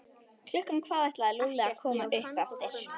Klukkan hvað ætlaði Lúlli að koma upp eftir?